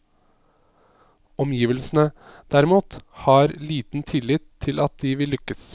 Omgivelsene, derimot, har liten tillit til at de vil lykkes.